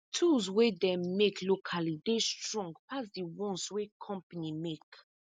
tools wey dem make locally dey strong pass di ones wey company make